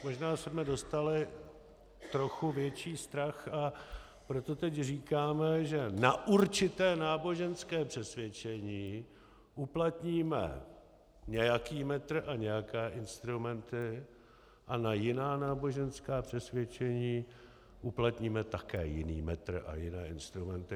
Možná jsme dostali trochu větší strach, a proto teď říkáme, že na určité náboženské přesvědčení uplatníme nějaký metr a nějaké instrumenty a na jiná náboženská přesvědčení uplatníme také jiný metr a jiné instrumenty.